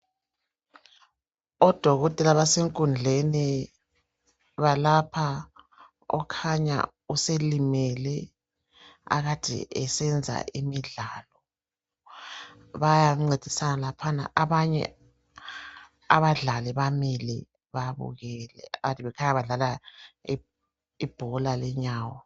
Odokotela basenkundleni abelapha okhanya uselimele akade esenza imidlalo. Bayamncedisana laphana abanye abadlali bamile babukele akade bekhanya badlala ibhola lenyawo.